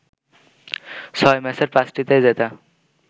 ছয় ম্যাচের পাঁচটিতেই জেতা